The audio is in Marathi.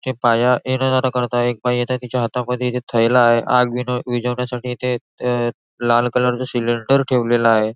ते पाया येन जान करताय आहे एक बाई येते तिच्या हातामध्ये इथ थैला आहे आग विनव विझवण्यासाठी इथे अ लाल कलरच सिलेंडर ठेवलेल आहे.